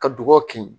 Ka dugu kin